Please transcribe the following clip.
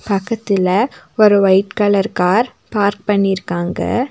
பக்கத்துல ஒரு white colour car park பண்ணிர்க்காங்க.